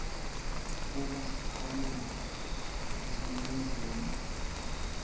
kuba sakhamuti saseningizimu